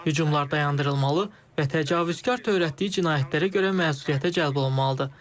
Hücumlar dayandırılmalı və təcavüzkar törətdiyi cinayətlərə görə məsuliyyətə cəlb olunmalıdır.